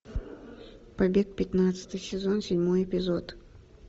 побег пятнадцатый сезон седьмой эпизод